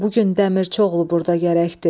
Bu gün Dəmirçioğlu burda gərəkdir.